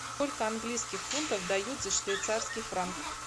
сколько английских фунтов дают за швейцарский франк